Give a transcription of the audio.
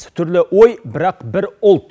түрлі ой бірақ бір ұлт